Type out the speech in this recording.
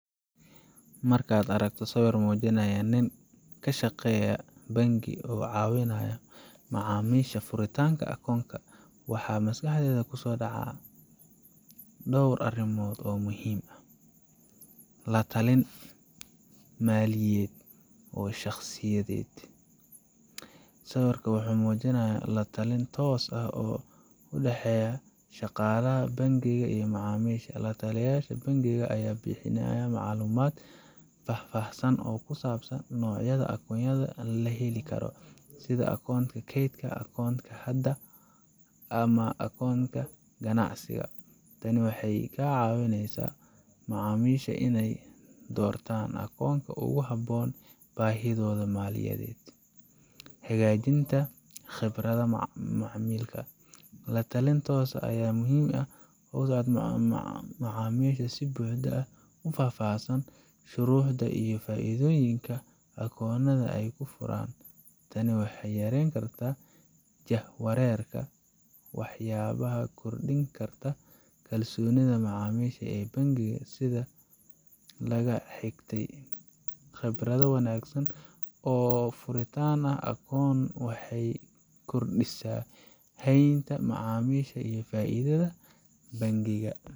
Markaad aragto sawir muujinaya nin ka shaqeeya bangi oo ka caawinaya macaamiisha furitaanka akoon, waxaa maskaxdaada ku soo dhacaa dhowr arrimood oo muhiim ah: La-talin Maaliyadeed oo Shakhsiyeed Sawirkan wuxuu muujinayaa la talin toos ah oo u dhexeeya shaqaalaha bangiga iyo macaamiisha. La taliyasha bangiga ayaa bixinaya macluumaad faahfaahsan oo ku saabsan noocyada akoonnada la heli karo, sida akoonka kaydka, akoonka hadda, ama akoonka ganacsiga. Tani waxay ka caawinesaa macaamiisha inay doortaan akoonka ugu habboon baahidooda maaliyadeed. Hagaajinta Khibradda Macmiilka La talin toos ah ayaa muhiim u ah in macaamiishu si buuxda u fahmaan shuruudaha iyo faa'iidooyinka akoonka ay furaan. Tani waxay yareyn kartaa jahwareerka waxayna kordhin kartaa kalsoonida macaamiisha ee bangiga. Sida laga xigtay khibradda wanaagsan oo furitan akoon waxay kordhisaa haynta macaamiisha iyo faa'iidada bangiga.